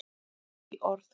Hlý orð.